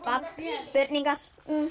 spurningar